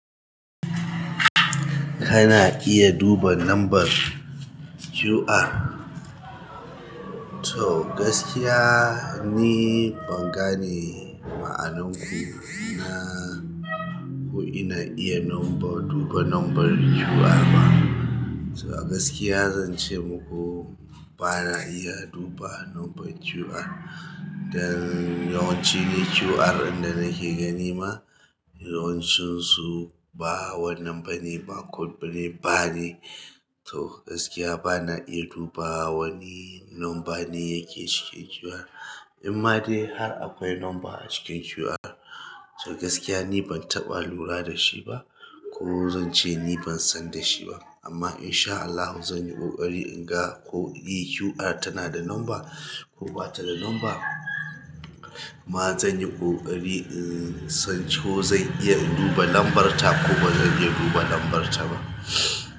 Kana iya duba lambar QR? To gaskiya, ni ban gane ma'anan ku, ina, ko ina iya lambar, duba lambar QR ba. To a gaskiya zan ce muku bana iya duba lambar QR. Don yawanci ni QR in da nake ganima yawancinsu ba complete bane bar ne to gaskiya bana iya duba wani numba ne yake cikin QR. Amma dai har akwai lamba a cikin QR. To gaskiya ni ban taɓa lura da shiba ko zanche niban san da shiba amma in sha Allahu zan yi ƙoƙari in ga ko e, QR tana da lamba ko ba ta da lamba. Kuma zan yi ƙoƙari in san ko zan iya duba lambar ta ko ba zan iya duba lambar ta ba.